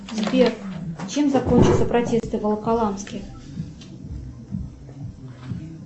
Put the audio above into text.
сбер чем закончатся протесты в волоколамске